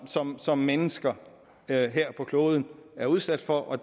som som mennesker her her på kloden er udsat for og